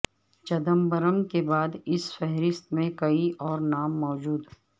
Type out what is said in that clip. چدمبرم کے بعد اس فہرست میں کئی اور نام موجود